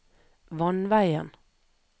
vannveien